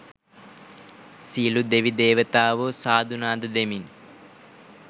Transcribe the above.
සියලු දෙවි දේවතාවෝ සාදු නාද දෙමින්